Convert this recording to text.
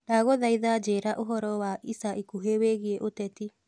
ndagũthaĩtha njĩĩra ũhoro wa ĩca ĩkũhĩ wĩĩgĩe uteti